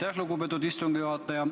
Aitäh, lugupeetud istungi juhataja!